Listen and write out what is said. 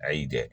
A y'i diya